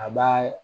A b'a